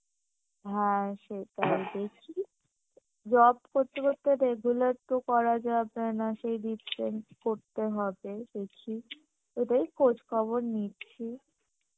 হ্যাঁ সেটাই দেখছি job করতে করতে তো এগুলো তো করা যাবে না সেই করতে হবে দেখি এটাই খোজ খবর নিচ্ছি